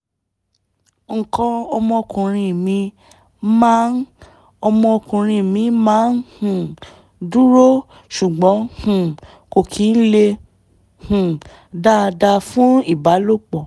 nǹkan ọmọkuùnrin mi máa ọmọkuùnrin mi máa um ń dúró ṣùgbọ́n um kò kí ń le um dáadáa fún ìbálòpọ̀